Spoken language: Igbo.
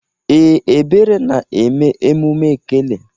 Ee, Ebere na-eme emume ekele.